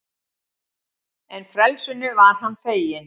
En frelsinu var hann feginn.